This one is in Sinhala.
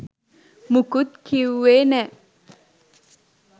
මුකුත් කිව්වේ නෑ